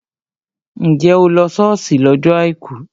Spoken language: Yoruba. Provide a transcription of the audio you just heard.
Njẹ́ o lọ ṣọ́ọ̀ṣì lọ́jọ́ àìkú?